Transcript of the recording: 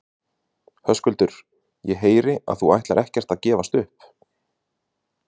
Höskuldur: Ég heyri að þú ætlar ekkert að gefast upp?